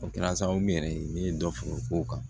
O kɛra sababu yɛrɛ ye n ye dɔ feere ko kan